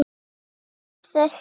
Komst þessi áfram?